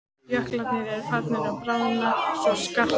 Jöklarnir eru farnir að bráðna svo skarpt.